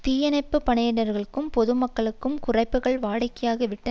தீயணைப்பு படையினர்களுக்கும் பொது மக்களுக்கும் குறைப்புக்கள் வாடிக்கையாகிவிட்ட